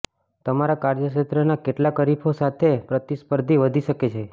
તમારા કાર્યક્ષેત્રના કેટલાક હરીફો સાથે પ્રતિસ્પર્ધી વધી શકે છે